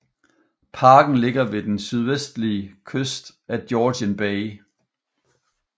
Parken ligger ved den sydøstlige kyst af Georgian Bay